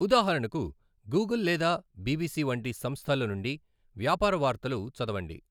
ఉదాహరణకు, గూగుల్ లేదా బిబిసి వంటి సంస్థల నుండి వ్యాపార వార్తలు చదవండి.